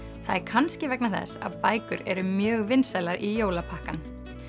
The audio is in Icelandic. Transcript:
það er kannski vegna þess að bækur eru mjög vinsælar í jólapakkann